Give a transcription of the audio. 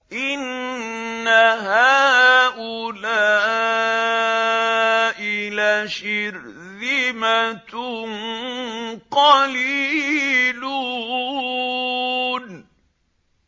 إِنَّ هَٰؤُلَاءِ لَشِرْذِمَةٌ قَلِيلُونَ